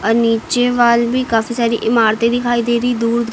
नीचे वॉल भी काफी सारी इमारते दिखाई दे रही दूर--